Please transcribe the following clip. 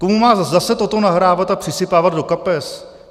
Komu má zase toto nahrávat a přisypávat do kapes?